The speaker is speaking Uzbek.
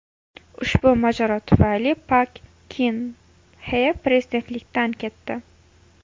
Ushbu mojaro tufayli Pak Kin Xe prezidentlikdan ketdi.